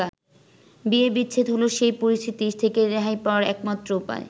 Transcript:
বিয়ে-বিচ্ছেদ হলো সেই পরিস্থিতি থেকে রেহাই পাওয়ার একমাত্র উপায়।